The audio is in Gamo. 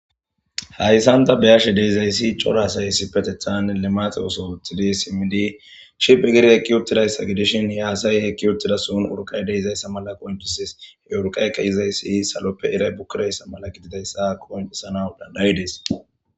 Hayssanta beyashe deizayssi corasayssi petethan lemaxe oso uthidi simmidi shiphe gir hekki uttidayssa gidishin yaasay hekki uttida suun urqay deizayssa mala qooncisis he urqaykka izayssi saloppe iray bukkidayssa mala gididayssa kooncisana dandayi dees.